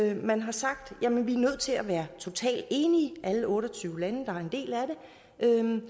at man har sagt jamen vi er nødt til at være totalt enige alle otte og tyve lande der er en